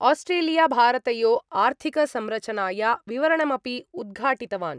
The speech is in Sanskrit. आस्ट्रेलियाभारतयो आर्थिकसंरचनाया विवरणमपि उद्घाटितवान्।